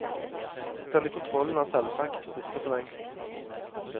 Denne kontrollen er selvsagt borte forlengst.